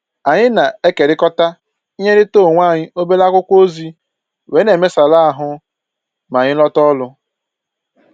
Anyị na-ekerikọta inyerịta onwe anyị obere akwụkwọ ozi wee na-emesara ahụ ma anyị lọta ọrụ